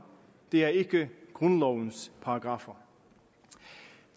det er ikke grundlovens paragraffer